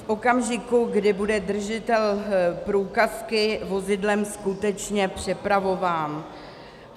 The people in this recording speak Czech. - v okamžiku, kdy bude držitel průkazky vozidlem skutečně přepravován.